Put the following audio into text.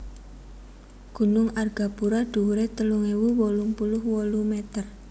Gunung Argapura dhuwuré telung ewu wolung puluh wolu meter